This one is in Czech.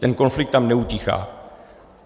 Ten konflikt tam neutichá.